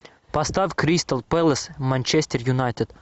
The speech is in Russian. поставь кристал пэлас манчестер юнайтед